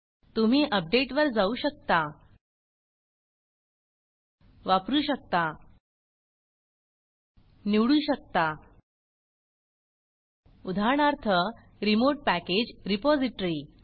तुम्ही अपडेट वर जाऊ शकता वापरु शकता निवडू शकता उदाहरणार्थ रिमोट पॅकेज रिपॉज़िटरी